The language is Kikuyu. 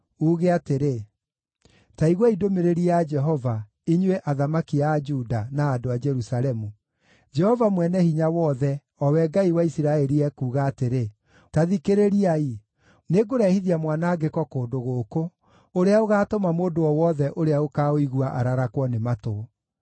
uuge atĩrĩ, ‘Ta iguai ndũmĩrĩri ya Jehova, inyuĩ athamaki a Juda, na andũ a Jerusalemu. Jehova Mwene-Hinya-Wothe, o we Ngai wa Isiraeli ekuuga atĩrĩ: Ta thikĩrĩriai! Nĩngũrehithia mwanangĩko kũndũ gũkũ ũrĩa ũgaatũma mũndũ o wothe ũrĩa ũkaũigua ararakwo nĩ matũ.